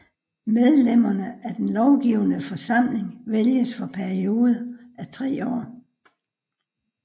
Medlemmerne af den lovgivende forsamling vælges for perioder af tre år